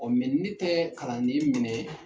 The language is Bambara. O mɛ ne tɛ kalanden minɛ